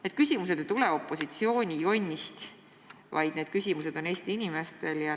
Need küsimused ei tulene opositsiooni jonnist, vaid on Eesti inimeste küsimused.